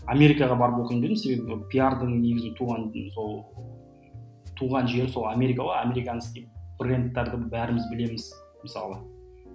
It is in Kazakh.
америкаға барып өкінбедім себебі пиардың негізі туған сол туған жері сол америка ғой американец дейді брендтерді бәріміз білеміз мысалы